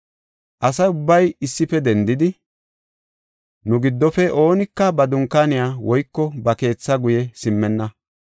Asa ubbay issife dendidi, “Nu giddofe oonika ba dunkaaniya woyko ba keethaa guye simmenna.